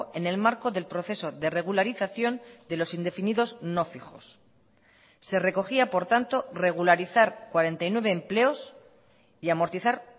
en el marco del proceso de regularización de los indefinidos no fijos se recogía por tanto regularizar cuarenta y nueve empleos y amortizar